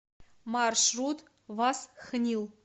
маршрут васхнил